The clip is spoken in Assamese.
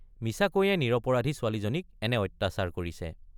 মিছাকৈয়ে নিৰপৰাধী ছোৱালীজনীক এনে অত্যাচাৰ কৰিছে।